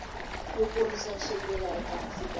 yo kurisa swimila ehansi ka